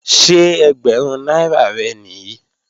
Ṣé ẹgbẹ̀rún náírà rẹ̀ nìí?